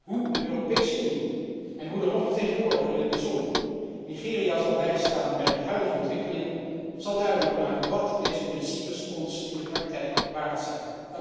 Hoe de Europese Unie, en hoe de hoge vertegenwoordiger in het bijzonder, Nigeria zal bijstaan bij de huidige ontwikkelingen, zal duidelijk maken wat deze principes ons in de praktijk waard zijn.